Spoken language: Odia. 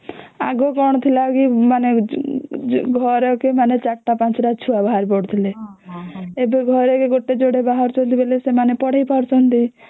ଆଗୁ କଣ ଥିଲା କେ ମାନେ ଘରକେ ୪ ଟା ୫ ଟା ଛୁଆ ବାହାରି ପଡୁଥିଲେ ଏବେ ଘରକେ ଗୋଟେ ଯୋଡ଼େ ବାହାରୁଛନ୍ତି ବୋଲେ ସେମାନେ ପଢ଼େଇ ପାରୁଛନ୍ତି